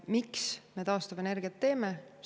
Miks me taastuvenergiat teeme?